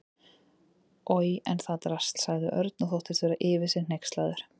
Oj, en það drasl sagði Örn og þóttist vera yfir sig hneykslaður.